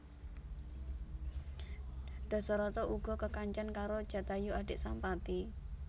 Dasarata uga kekancan karo Jatayu adik Sampati